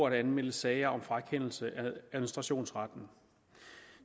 at anmelde sager om frakendelse af administrationsretten